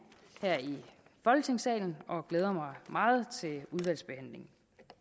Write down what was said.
her i folketingssalen og jeg glæder mig meget til udvalgsbehandlingen